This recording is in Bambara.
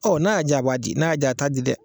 Ɔ n'a y'a ja a b'a di , n'a y'a ja a t'a di dɛ.